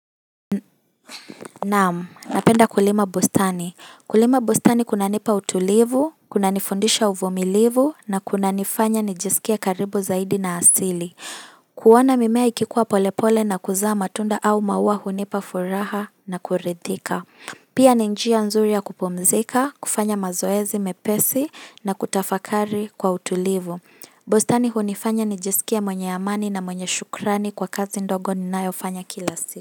Naam, napenda kulima bustani. Kulima bustani kunanipa utulivu, kunanifundisha uvumilivu, na kunanifanya nijisikie karibu zaidi na asili. Kuona mimea ikikua polepole na kuzaa matunda au maua hunipa furaha na kurithika. Pia ni njia nzuri ya kupumzika, kufanya mazoezi, mepesi, na kutafakari kwa utulivu. Bustani hunifanya nijisikie mwenye amani na mwenye shukrani kwa kazi ndogo ninayofanya kila siku.